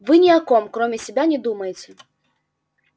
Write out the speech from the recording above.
вы ни о ком кроме себя не думаете